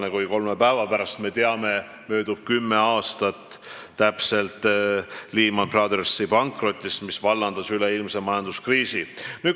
Nagu me teame, kolme päeva pärast möödub täpselt kümme aastat Lehman Brothersi pankrotist, mis vallandas üleilmse majanduskriisi.